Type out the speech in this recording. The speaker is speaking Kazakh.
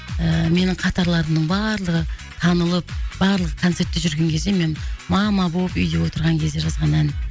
ыыы менің қатарларымның барлығы танылып барлығы концертте жүрген кезде мен мама болып үйде отырған кезде жазған әнім